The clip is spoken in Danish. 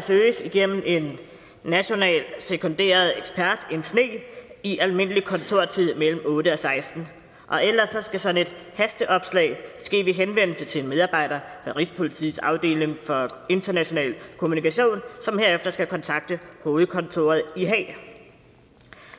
søges igennem en national sekunderet ekspert en sne i almindelig kontortid mellem klokken otte og seksten og ellers skal sådan et hasteopslag ske ved henvendelse til en medarbejder i rigspolitiets afdeling for international kommunikation som herefter skal kontakte hovedkontoret i haag